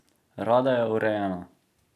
Rada je urejena.